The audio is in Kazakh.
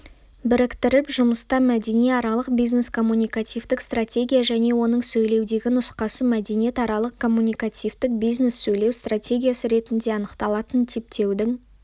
біріктіріп жұмыста мәдениаралық бизнес-коммуникативтік стратегия және оның сөйлеудегі нұсқасы мәдениетаралық-коммуникативтік бизнес-сөйлеу стратегиясы ретінде анықталатын типтеудің